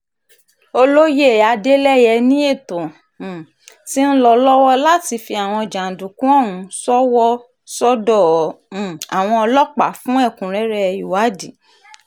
olóye adeleye ni ètò um ti ń lọ lọ́wọ́ láti fi àwọn jàǹdùkú ọ̀hún ṣòwò sọ́dọ̀ um àwọn ọlọ́pàá fún ẹ̀kúnrẹ́rẹ́ ìwádìí